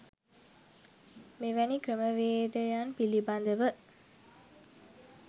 මෙවැනි ක්‍රමවේදයන් පිලිබදව